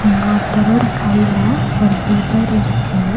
இங்க ஒருத்தரோட கைல ஒரு பேப்பர் இருக்கு.